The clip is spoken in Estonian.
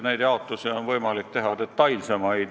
Kindlasti on võimalik teha detailsemaid jaotusi.